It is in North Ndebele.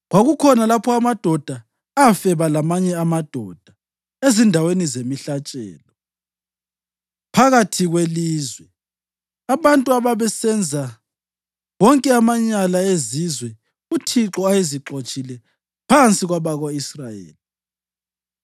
Kwakukhona lapho amadoda afeba lamanye amadoda ezindaweni zemihlatshelo phakathi kwelizwe; abantu ababesenza wonke amanyala ezizwe uThixo ayezixotshile phansi kwabako-Israyeli.